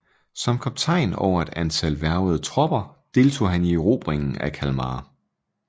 Som kaptajn over et antal hvervede tropper deltog han i erobringen af Kalmar